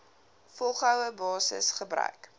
volgehoue basis gebruik